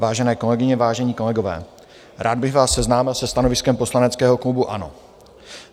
Vážené kolegyně, vážení kolegové, rád bych vás seznámil se stanoviskem poslaneckého klubu ANO.